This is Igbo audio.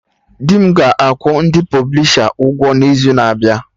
Dị m ga-akwụ ndị pọblisha ụgwọ n'izu na-abịa